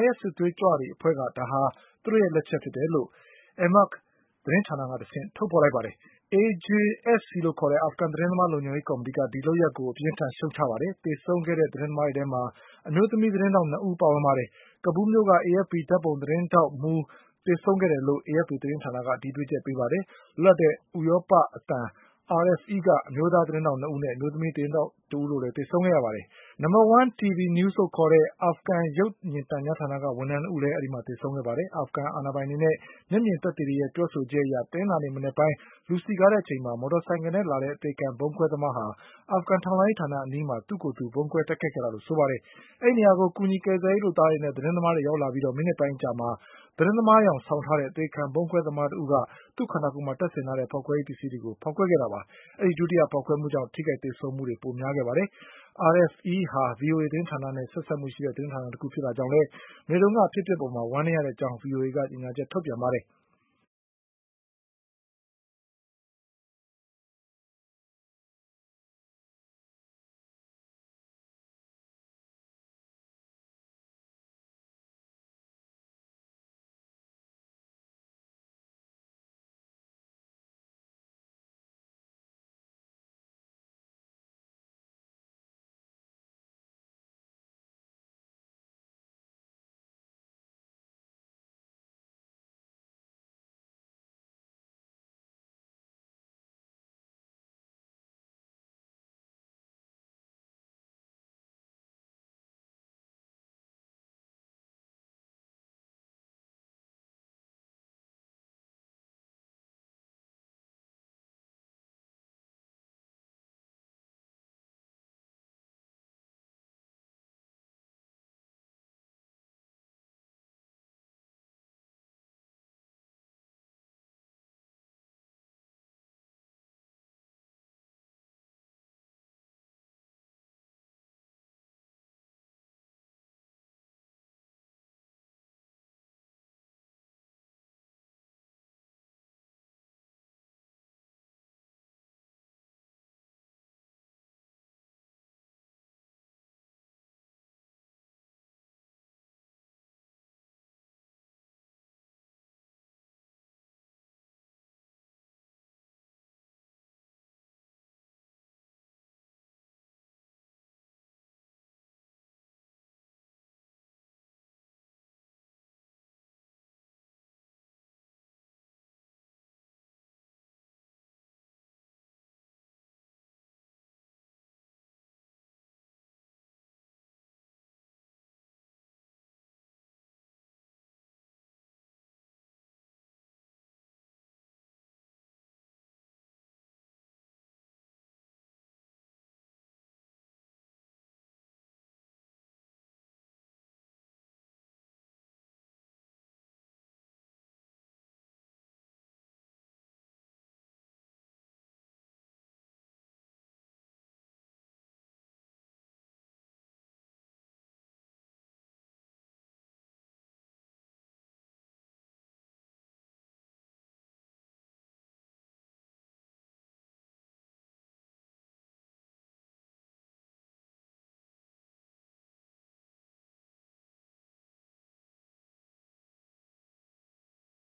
IS စစ်သွေးကြွအဖွဲ့ကတော့ ဒါဟာ သူတို့ရဲ့လက်ချက်ဖြစ်တယ်လို့ Amaq သတင်းဌာနကတဆင့်ထုတ်ဖေါ်လိုက်ပါတယ်။ AJSC လို့ခေါ်တဲ့ အာဖဂန်သတင်းသမားလုံခြုံရေးကော်မီတီက ဒီလုပ်ရပ်ကိုအပြင်းအထန်ရှုတ်ချလိုက်ပါတယ်။ သေဆုံးခဲ့ တဲ့သတင်းသမားတွေထဲမှာ အမျိုးသမီးသတင်းထောက်၂ဦးပါဝင်ပါတယ်။ ကာဘူးလ်မြို့က AFPဓါတ်ပုံသတင်းထောက်မှုး လည်းသေဆုံးခဲ့တယ်လို့ AFPသတင်းဌာနကအတည်ပြုချက်ပေးပါတယ်။ လွတ်လပ်တဲ့ဥရောပအသံ RFEက အမျိုးသား သတင်းထောက်၂ဦးနဲ့အမျိုးသမီးသတင်းထောက်တဦးတို့လည်းသေဆုံးခဲ့ရပါတယ်။ 1 TV News လို့ခေါ်တဲ့ အာဖဂန်ရုပ် မြင်သံကြားဌာနက ဝန်ထမ်း၂ဦးလည်းသေဆုံးခဲ့ပါတယ်။ အာဖဂန်အာဏာပိုင်တွေနဲ့ မျက်မြင်သက်သေတွေရဲ့ပြောဆို ချက်အရ တနင်္လာနေ့မနက်ပိုင်း လူစည်ကားတဲ့အချိန်မှာ မော်တော်ဆိုင်ကယ်နဲ့လာတဲ့အသေခံဗုံးခွဲသမားက အာဖဂန် ထောက်လှန်းရေးဌာနအနီးမှာ သူ့ကိုယ်သူဗုံးခွဲတိုက်ခိုက်ခဲ့တာလို့ဆိုပါတယ်။ အဲဒီနေရာကို ကူညီကယ်ဆယ်ရေးလုပ် သားတွေနဲ့ သတင်းသမားတွေရောက်လာပြီးမိနစ်ပိုင်းအကြာမှာ သတင်းသမားယောင်ဆောင်ထားတဲ့အသေခံဗုံးခွဲသမား က သူ့ခန္တာကိုယ်မှာတပ်ဆင်ထားတဲ့ဖေါက်ခွဲရေးပစ္စည်းတွေကိုဖေါက်ခွဲခဲ့တာပါ။ ဒီဒုတိယဖေါက်ခွဲမှုကြောင့် ထိခိုက်သေဆုံး မှုပိုများခဲ့တာပါ။ RFE ဟာ VOAသတင်းဌာနနဲ့ ဆက်စပ်မှုရှိတဲ့သတင်းဌာနတခုဖြစ်တာကြောင့်လည်း မနေ့ကအဖြစ် အပျက်အပေါ်မှာ ဝမ်းနည်းရတဲ့အကြောင်း VOAက ကြေညာချက်ထုတ်ပြန်ပါတယ်။